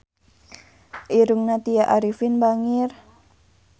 Irungna Tya Arifin bangir